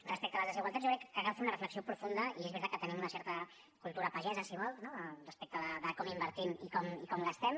respecte a les desigualtats jo crec que cal fer una reflexió profunda i és veritat que tenim una certa cultura pagesa si ho vol no respecte de com invertim i com gastem